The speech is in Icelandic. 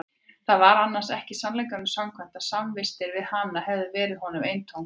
Það var annars ekki sannleikanum samkvæmt að samvistirnar við hana hefðu verið honum eintóm kvöl.